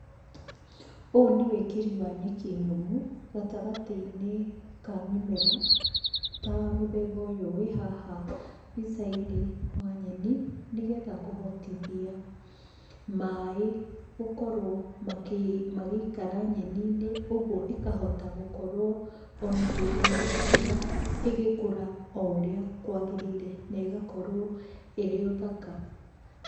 Ũũ nĩ wĩkĩri wa nyeki nyũmũ gatagatĩ-inĩ ka mĩmera, ta mũthemba ũyũ wĩ haha mbica-inĩ wa nyeni, nĩgetha kũhotithia maaĩ gũkorwo magĩikara nyeni-inĩ, ũguo ĩkahota gũkorwo o na hĩndĩ ya riũa ĩgĩkũra o ũrĩa kwagĩrĩire na ĩgakorwo ĩrĩ o thaka.